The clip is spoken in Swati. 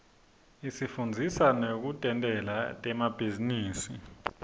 isifundzisa nekutentela temabhizinisi